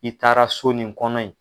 I taara so nin kɔnɔ yen